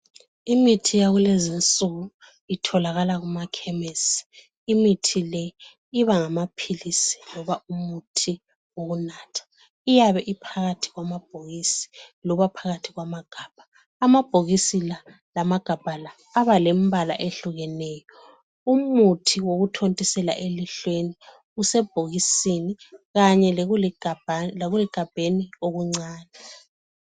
Imithi yakulezinsuku, itholakala kumakhemesi. Imithi le ibangamaphilisi loba umuthi wokunatha. Iyabe iphakathi kwamabhokisi, loba phakathi kwamaghaba. Amabhokisi la, lamaghabha la abalembala ehlukeneyo. Umuthi wokuthontisela elihlweni usebhokisini kanye lekuligabheni okuncane.